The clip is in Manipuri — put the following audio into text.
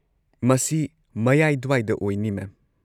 ꯃꯁꯤ ꯃꯌꯥꯏ ꯗ꯭ꯋꯥꯏꯗ ꯑꯣꯢꯅꯤ ꯃꯦꯝ꯫